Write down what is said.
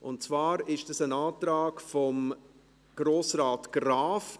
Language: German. Und zwar ist das ein Antrag von Grossrat Graf.